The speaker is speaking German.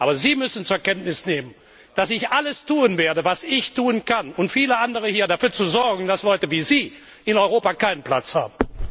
Aber Sie müssen zur Kenntnis nehmen, dass ich alles tun werde, was ich tun kann und viele andere hier auch um dafür zu sorgen, dass Leute wie Sie in Europa keinen Platz haben!